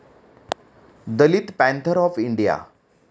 Dalit Panther of India